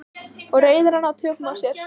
Og reiðina ná tökum á sér.